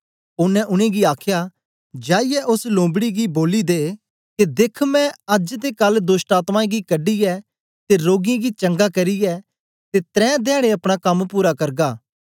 ओनें उनेंगी आखया जाईयै ओस लुम्बी गी बोली के देखमै अज्ज ते कल दोष्टआत्मायें गी कढीयै ते रोगियें गी चंगा करियै ते तरें धयाडें अपना कम्म पूरा करगा